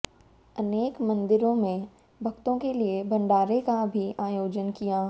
अनेक मंदिरों में भक्तों के लिए भंडारे का भी आयोजन किया